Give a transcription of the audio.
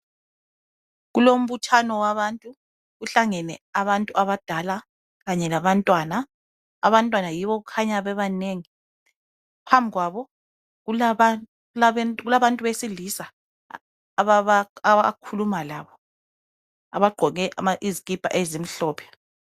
Kulombuthano wabantu. Kuhlangene abantu abadala kanye labantwana, abantwana yibo okukhanya bebanengi. Phambi kwabo kulabantu besilisa abakhuluma labo, abagqoke izikipa ezimhlophe.